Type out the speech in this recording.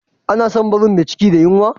Ana son barin me ciki da yunwa